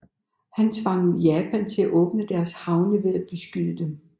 Han tvang Japan til at åbne deres havne ved at beskyde dem